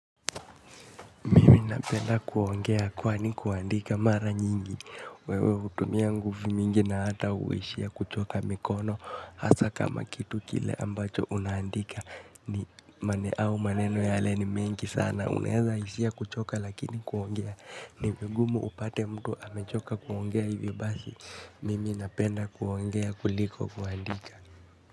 Mimi napenda kuongea kwani kuandika mara nyingi, wewe hutumia nguvu mingi na hata huishia kuchoka mikono, hasa kama kitu kile ambacho unaandika ni mane au maneno yale ni mengi sana, uneza hisia kuchoka lakini kuongea, ni vigumu upate mtu amechoka kuongea hivi basi, mimi napenda kuongea kuliko kuandika.